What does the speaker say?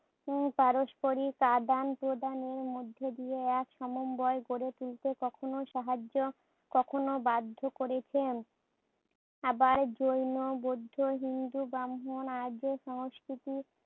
উম পারস্পরিক আদান-প্রদানের মধ্যে দিয়ে এক সমন্বয় গড়ে তুলতে কখনো সাহায্য, কখনো বাধ্য করেছেন। আবার জৈন, বৌদ্ধ, হিন্দু, ব্রাহ্মণ, আর্য সংস্কৃতির